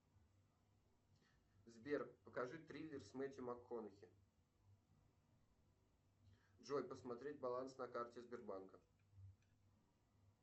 сбер покажи триллер с мэтью макконахи джой посмотреть баланс по карте сбербанка